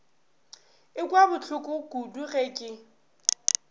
ekwa bohloko kudu ge ke